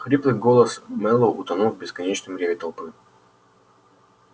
хриплый голос мэллоу утонул в бесконечном рёве толпы